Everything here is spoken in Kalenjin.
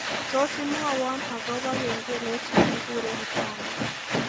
Tos imwowo agoba kengelet negigure kitandet